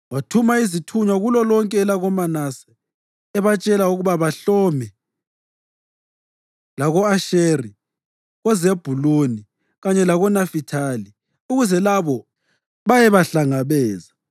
Wathuma izithunywa kulolonke elakoManase, ebatshela ukuba bahlome, lako-Asheri, koZebhuluni kanye lakoNafithali, ukuze labo bayebahlangabeza.